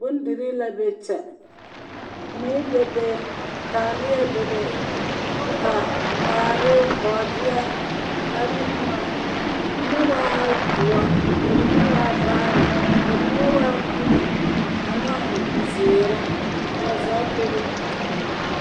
Bondirii la be kyɛ. Mui bebe. Taaleɛ bebe, ka, waare bɔɔdeɛ ane boma. Mine waa doɔ, ka mine waa vaare, ka mine waa uli, ane zeere. Kaa zaa bebe.